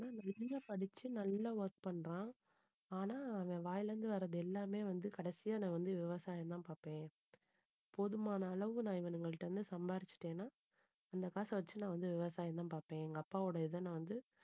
நல்லா படிச்சு நல்லா work பண்றான் ஆனா அவன் வாயில இருந்து வர்றது எல்லாமே வந்து கடைசியா நான் வந்து விவசாயம்தான் பார்ப்பேன் போதுமான அளவு நான் இவனுங்ககிட்ட இருந்து சம்பாரிச்சுட்டேன்னா அந்த காசை வச்சு நான் வந்து விவசாயம்தான் பார்ப்பேன் எங்க அப்பாவோட இதை நான் வந்து